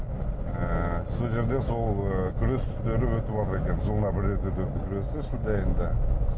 ыыы сол жерде сол ы күрестері өтіватыр екен жылына бір рет өтетін күресі енді